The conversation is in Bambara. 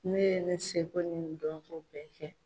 Ne ye ne seko ni n dɔnko bɛɛ kɛ.